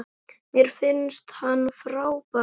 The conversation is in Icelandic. Mér finnst hann frábær.